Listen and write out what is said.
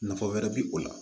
Nafa wɛrɛ bi o la